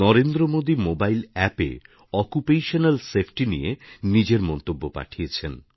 Narendra Modi mobile অ্যাপএ occupational safety নিয়ে নিজের মন্তব্য পাঠিয়েছেন